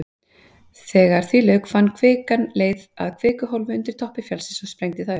Þegar því lauk fann kvikan leið að kvikuhólfi undir toppi fjallsins og sprengdi það upp.